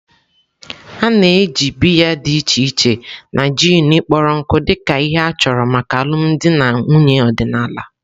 A na-eji biya dị iche iche na gin kpọrọ nkụ dị ka ihe a chọrọ maka alụmdi na nwunye ọdịnala.